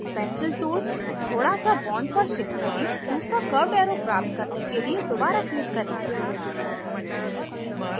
pencil tool थोड़ा सा bond पर shift करें दूसरा curved arrow प्राप्त करने के लिए दोबारा click करें